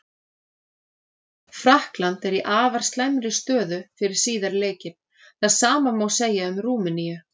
Frakkland er í afar slæmri stöðu fyrir síðari leikinn, það sama má segja um Rúmeníu.